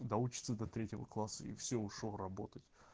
доучиться до третьего класса и всё ушёл работать